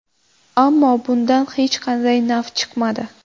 Ammo bundan hech qanday naf chiqmadi.